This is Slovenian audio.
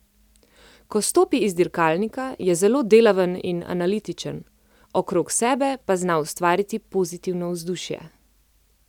Ko stopi iz dirkalnika, je zelo delaven in analitičen, okrog sebe pa zna ustvariti pozitivno vzdušje.